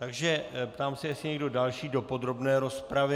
Takže ptám se, jestli někdo další do podrobné rozpravy.